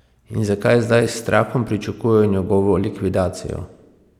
In zakaj zdaj s strahom pričakujejo njegovo likvidacijo?